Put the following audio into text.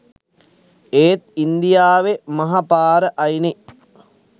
ඒත් ඉන්දියාවේ මහ පාර අයිනේ